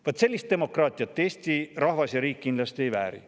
Vaat sellist demokraatiat Eesti rahvas ja riik kindlasti ei vääri.